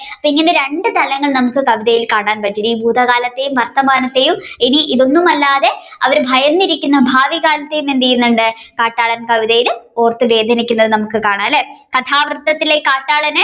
ഇങ്ങനെ രണ്ടു തലങ്ങൾ നമ്മുക്ക് കവിതയിൽ കാണാൻപറ്റുകയും ഭൂതകാലത്തെയും വർത്തമാനത്തെയും ഇതൊന്നും അല്ലാതെ അവർ ഭയന്നിരിക്കുന്ന ഭാവികാലത്തെ എന്തെയുന്നുണ്ട് കാട്ടാളൻ കവിതയിൽ ഓർത്തു വേദനിക്കുന്നത് നമ്മുക്ക് കാണാം അല്ലെ കഥാവൃത്തത്തിലെ കാട്ടാളനെ